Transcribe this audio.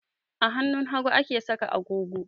A hannun hagu ake saka agogo